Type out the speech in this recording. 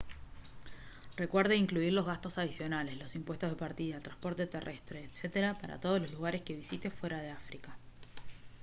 recuerde incluir los gastos adicionales los impuestos de partida el transporte terrestre etc para todos los lugares que visite fuera de áfrica